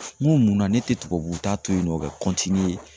N munna ne tɛ tubabu ta to yen nɔ ka